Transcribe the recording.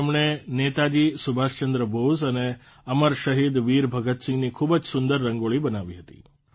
તેમણે નેતાજી સુભાષચંદ્ર બોઝ અને અમર શહીદ વીર ભગતસિંહની ખૂબ જ સુંદર રંગોળી બનાવી હતી